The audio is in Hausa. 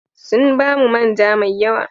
Sun ba mu man ja mai yawa.